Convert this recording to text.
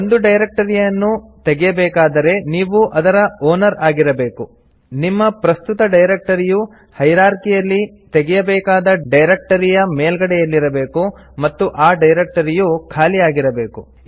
ಒಂದು ಡೈರೆಕ್ಟರಿಯನ್ನು ತೆಗೆಯಬೇಕಾದರೆ ನೀವು ಅದರ ಓನರ್ ಆಗಿರಬೇಕು ನಿಮ್ಮ ಪ್ರಸ್ತುತ ಡೈರೆಕ್ಟರಿಯು ಹೈರಾರ್ಕಿಯಲ್ಲಿ ತೆಗೆಯಬೇಕಾದ ಡೈರೆಕ್ಟರಿಯ ಮೇಲ್ಗಡೆಯಲ್ಲಿರಬೇಕು ಮತ್ತು ಆ ಡೈರೆಕ್ಟರಿಯು ಖಾಲಿ ಆಗಿರಬೇಕು